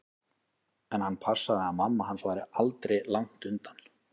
En hann passaði að mamma hans væri aldri langt undan.